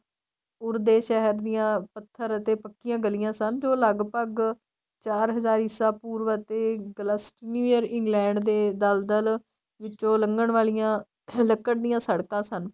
ਉਰੇ ਦੇ ਸ਼ਹਿਰ ਦੀਆ ਪੱਥਰ ਅਤੇ ਪੱਕੀਆਂ ਗੱਲੀਆਂ ਸਨ ਜੋ ਲੱਗਭਗ ਚਾਰ ਹਜ਼ਾਰ ਈਸਾ ਪੂਰਵ ਅਤੇ ਨਿਊਯਰ England ਦੇ ਦਲਦਲ ਵਿਚੋਂ ਲੱਗਣ ਵਾਲੀਆਂ ਲੱਕੜ ਦੀਆ ਸੜਕਾਂ ਸਨ